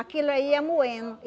Aquilo aí ia moendo.